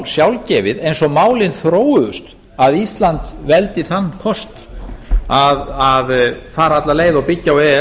sjálfgefið eins og málin þróuðust að ísland veldi þann kost að fara alla leið og byggja á e e s